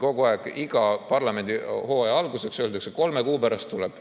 Kogu aeg, iga parlamendihooaja alguseks öeldakse, et kolme kuu pärast tuleb.